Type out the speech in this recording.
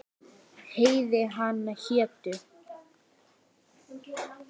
Heiði hana hétu